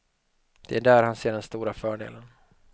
Det är där han ser den stora fördelen.